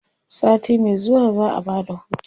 sati Mai zuwa za'a Bada hutu